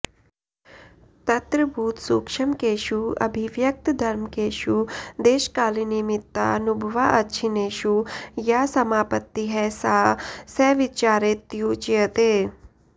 तत्र भूतसूक्ष्मकेषु अभिव्यक्तधर्मकेषु देशकालनिमित्तानुभवाअच्छिन्नेषु या समापत्तिः सा सविचारेत्युच्यते